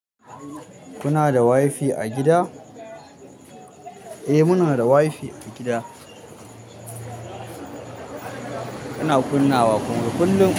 Kuna da wifi a gida? Eh muna da wifi a gida. Ina kunnawa kuma kullum?